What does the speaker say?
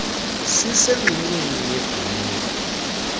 sisengxoweni yebh ulukh